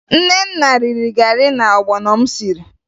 Nnenna riri garị na ọgbọnọ m siri